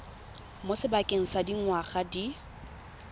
mo sebakeng sa dingwaga di